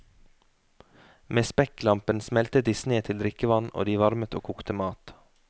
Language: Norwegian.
Med spekklampen smeltet de sne til drikkevann og de varmet og kokte mat.